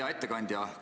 Hea ettekandja!